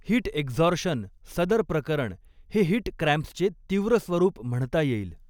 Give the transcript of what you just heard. Heat exhaustion सदर प्रकरण हे हीट क्रॅम्प्सचे तीव्र स्वरूप म्हणता येईल.